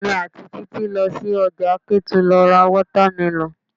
Èmi àti Títí lọ sí ọjà Ketu lọ ra watermelon.